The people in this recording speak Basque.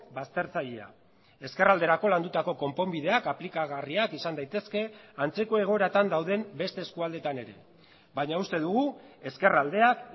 baztertzailea ezkerralderako landutako konponbideak aplikagarriak izan daitezke antzeko egoeratan dauden beste eskualdetan ere baina uste dugu ezkerraldeak